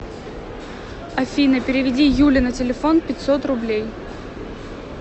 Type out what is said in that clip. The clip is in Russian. афина переведи юле на телефон пятьсот рублей